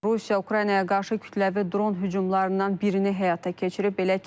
Rusiya Ukraynaya qarşı kütləvi dron hücumlarından birini həyata keçirib.